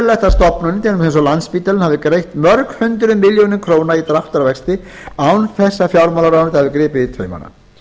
eins og landspítalinn hafi erfitt mörg hundruð milljóna króna í dráttarvexti án þess að fjármálaráðuneytið hafi gripið í taumana